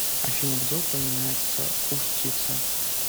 афина где упоминается устьице